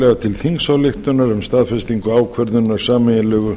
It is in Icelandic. tillaga til þingsályktunar um staðfestingu ákvörðunar sameiginlegu